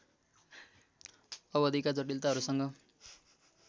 अवधिका जटिलताहरूसँग